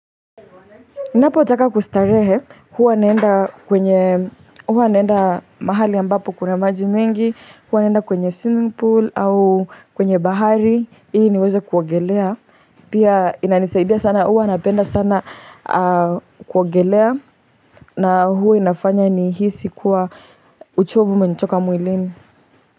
niNapotaka kustarehe, huwa naenda mahali ambapo kuna maji mengi, huwa naenda kwenye swimming pool au kwenye bahari. Ili niweze kuogelea. Pia inanisaidia sana huwa napenda sana kuogelea na huwa inafanya nihisi kuwa uchovu imenitoka mwiilini.